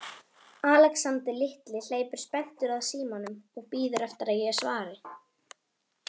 Alexander litli hleypur spenntur að símanum og bíður eftir að ég svari.